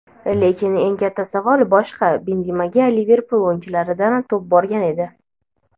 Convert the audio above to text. Lekin eng katta savol boshqa: Benzemaga Liverpul o‘yinchilaridan to‘p borgan edi.